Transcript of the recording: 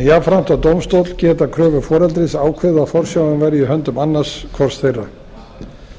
jafnframt að dómstóll geti að kröfu foreldris ákveðið að forsjáin verði í höndum annars hvors þeirra